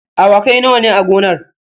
Awakai nawa ne a gonar?